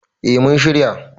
eh mun shirya